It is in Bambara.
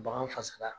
Bagan fasara